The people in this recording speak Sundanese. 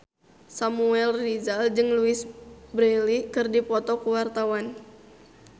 Samuel Rizal jeung Louise Brealey keur dipoto ku wartawan